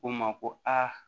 Ko n ma ko a